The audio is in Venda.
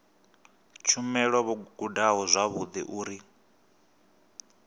tshumelo vho gudaho zwavhudi uri